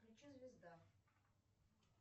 включи звезда